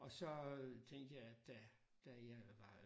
Og så tænkte jeg at da da jeg var